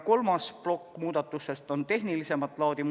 Kolmas plokk muudatusi on tehnilisemat laadi.